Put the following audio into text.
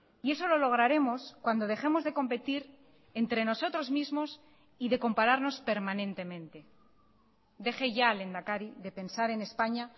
y eso lo lograremos cuando dejemos de competir entre nosotros mismos y de compararnos permanentemente deje ya lehendakari de pensar en españa